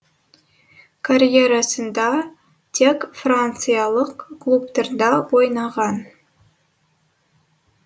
карьерасында тек франциялық клубтарда ойнаған